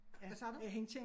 Hvad sagde du?